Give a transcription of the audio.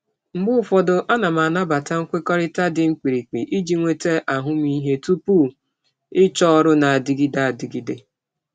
Mgbe ụfọdụ, ana m anabata nkwekọrịta dị mkpirikpi iji nweta ahụmịhe tupu ịchọọ ọrụ na-adịgide adịgide.